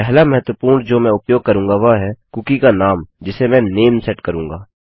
पहला महत्वपूर्ण जो मैं उपयोग करूँगा वह है कुकी का नाम जिसे मैं नामे सेट करूँगा